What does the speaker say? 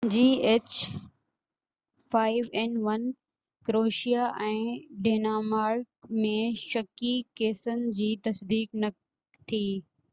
Croatia ۽ Denmark ۾ h5n1 جي شڪي ڪيسن جي تصديق نہ ٿي